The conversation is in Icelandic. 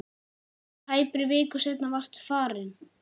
Tæpri viku seinna varstu farinn.